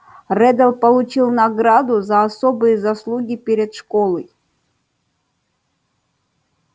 реддл получил награду за особые заслуги перед школой